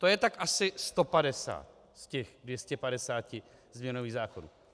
To je tak asi 150 z těch 250 změnových zákonů.